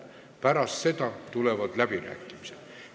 Pärast seda tulevad läbirääkimised.